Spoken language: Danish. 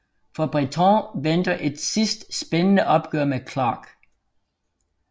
For Bretton venter et sidste spændende opgør med Clark